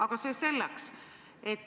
Aga see selleks.